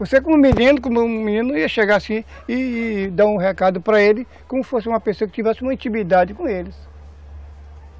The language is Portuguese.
Você, como menino, como menino, ia chegar assim e e dar um recado para ele, como se fosse uma pessoa que tivesse uma intimidade com eles.